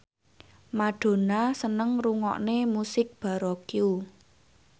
Madonna seneng ngrungokne musik baroque